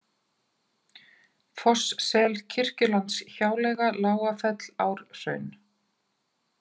Fosssel, Kirkjulandshjáleiga, Lágafell, Árhraun